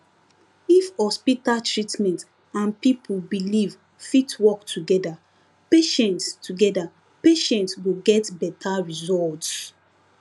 if hospital treatment and people belief fit work together patients together patients go get better results